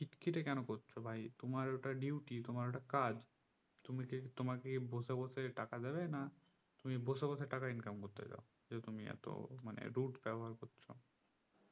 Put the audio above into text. খিটখিটে কোনো করছো ভাই তোমার ওটা duty তোমার ঐটা কাজ তুমি কি তোমার কি বসে বসে টাকা দিবে না তুমি বসে বসে টাকা income করতে যাও যে তুমি এত মানে rude ব্যবহার করছো